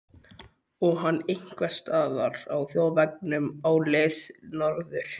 Og hann einhvers staðar á þjóðvegunum á leið norður.